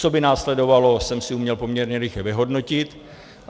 Co by následovalo, jsem si uměl poměrně rychle vyhodnotit.